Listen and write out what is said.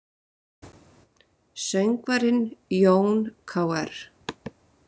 Söngvarinn Jón Kr